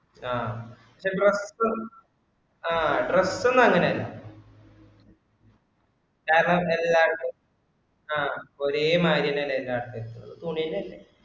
ആഹ് dress ഉം ആഹ് dress ഒന്നും അങ്ങിനെ അല്ല കാരണം എല്ലാർക്കും ആഹ് ഒരേ മാതിരി തന്നെ എല്ലാർക്കും എടുത്തുള്ളൂ തുണിന്റെ അല്ലെ.